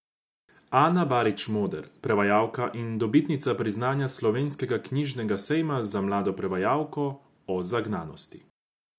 Ana Barič Moder, prevajalka in dobitnica priznanja Slovenskega knjižnega sejma za mlado prevajalko, o zagnanosti.